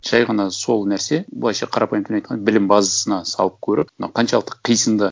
жай ғана сол нәрсе былайша қарапайым тілмен айтқанда білім базасына салып көріп мынау қаншалықты қисынды